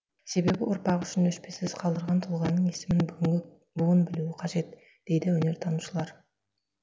себебі ұрпақ үшін өшпес із қалдырған тұлғаның есімін бүгінгі буын білуі қажет дейді өнертанушылар